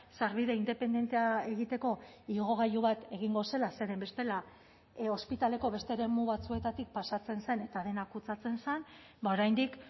sarbide independentea egiteko igogailu bat egingo zela zeren bestela ospitaleko beste eremu batzuetatik pasatzen zen eta dena kutsatzen zen oraindik